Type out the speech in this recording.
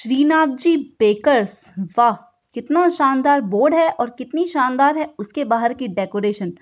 Shri Nath ji bakers वाह! कितना शानदार बोर्ड है और कितनी शानदार है उसके बाहर की डेकोरेशन ।